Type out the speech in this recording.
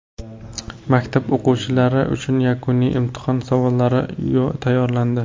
Maktab o‘quvchilari uchun yakuniy imtihon savollari tayyorlandi.